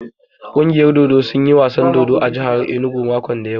Ƙungiyar dodo sun yi wasan dodo a jahar inugu makon da ya wuce.